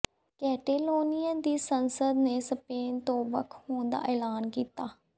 Catalonia ਦੀ ਸੰਸਦ ਨੇ ਸਪੇਨ ਤੋਂ ਵੱਖ ਹੋਣ ਦਾ ਐਲਾਨ ਕੀਤਾ